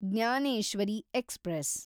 Jnaneshwari express